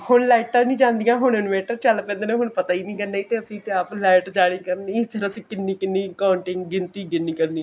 ਹੁਣ light ਆ ਨਹੀਂ ਚਲਦਿਆਂ ਹੁਣ innovator ਚਲ ਪੈਂਦੇ ਨੇ ਹੁਣ ਪਤਾ ਹੀ ਨਹੀਂ light ਜਾ ਰਹੀ ਕਿੰਨੀ ਕਿੰਨੀ counting ਗਿਣਤੀ ਗਿਣੀ ਕਰਨੀ